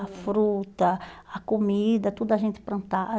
A fruta, a comida, tudo a gente